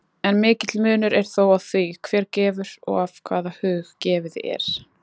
En mikill munur er þó á því, hver gefur og af hvaða hug gefið er.